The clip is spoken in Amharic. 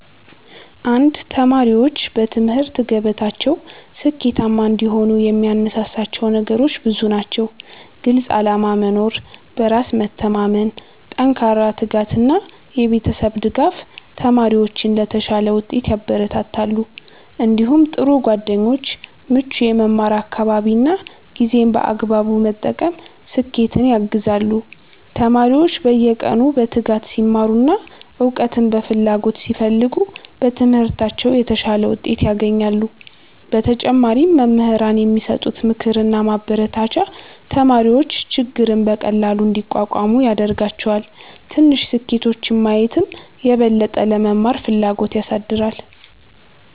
1ተማሪዎች በትምህርት ገበታቸው ስኬታማ እንዲሆኑ የሚያነሳሳቸው ነገሮች ብዙ ናቸው። ግልፅ ዓላማ መኖር፣ በራስ መተማመን፣ ጠንካራ ትጋት እና የቤተሰብ ድጋፍ ተማሪዎችን ለተሻለ ውጤት ያበረታታሉ። እንዲሁም ጥሩ ጓደኞች፣ ምቹ የመማር አካባቢ እና ጊዜን በአግባቡ መጠቀም ስኬትን ያግዛሉ። ተማሪዎች በየቀኑ በትጋት ሲማሩ እና እውቀትን በፍላጎት ሲፈልጉ በትምህርታቸው የተሻለ ውጤት ያገኛሉ። በተጨማሪም መምህራን የሚሰጡት ምክርና ማበረታቻ ተማሪዎች ችግርን በቀላሉ እንዲቋቋሙ ያደርጋቸዋል። ትንሽ ስኬቶችን ማየትም የበለጠ ለመማር ፍላጎት ያሳድጋል።